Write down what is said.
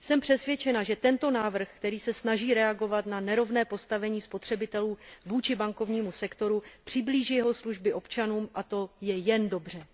Jsem přesvědčena, že tento návrh, který se snaží reagovat na nerovné postavení spotřebitelů vůči bankovnímu sektoru, přiblíží jeho služby občanům a to je jen dobře.